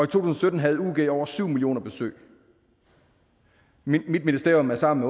tusind og sytten havde ug over syv millioner besøg mit ministerium er sammen